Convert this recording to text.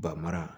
Ba mara